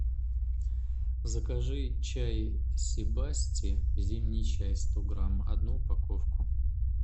закажи чай сибасти зимний чай сто грамм одну упаковку